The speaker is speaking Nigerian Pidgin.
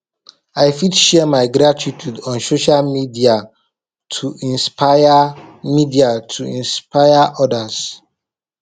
i fit share my gratitude on social media to inspire media to inspire others